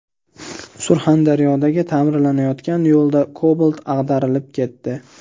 Surxondaryodagi ta’mirlanayotgan yo‘lda Cobalt ag‘darilib ketdi.